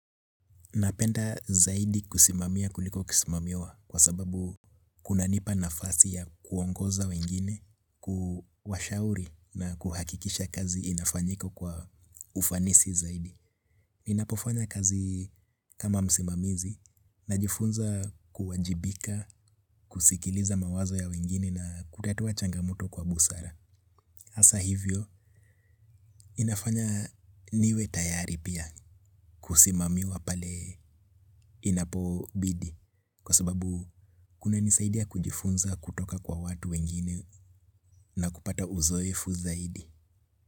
Napenda zaidi kusimamia kuliko kusimamiwa kwa sababu kuna nipa nafasi ya kuongoza wengine, kuwashauri na kuhakikisha kazi inafanyika kwa ufanisi zaidi. Ninapofanya kazi kama msimamizi najifunza kuwajibika, kusikiliza mawazo ya wengine na kutatua changamoto kwa busara. Hasa hivyo inafanya niwe tayari pia kusimamiwa pale inapobidi kwa sababu kunanisaidia kujifunza kutoka kwa watu wengine na kupata uzoefu zaidi.